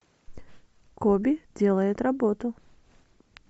коби делает работу